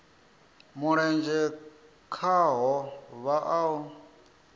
mulenzhe khaho vha o a